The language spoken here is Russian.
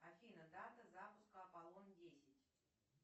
афина дата запуска аполлон десять